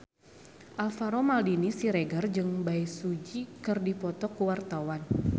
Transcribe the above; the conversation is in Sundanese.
Alvaro Maldini Siregar jeung Bae Su Ji keur dipoto ku wartawan